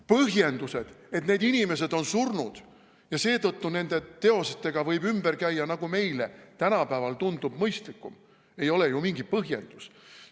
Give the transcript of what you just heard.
Põhjendused, et need inimesed on surnud ja seetõttu nende teostega võib ümber käia, nagu meile tänapäeval tundub mõistlikum, ei ole ju mingi põhjendus.